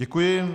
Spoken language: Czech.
Děkuji.